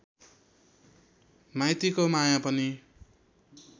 माइतीको माया पनि